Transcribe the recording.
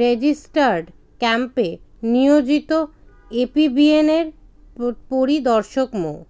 registered ক্যাম্পে নিয়োজিত এপিবিএনের পরিদর্শক মো